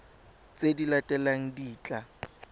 tse di latelang di tla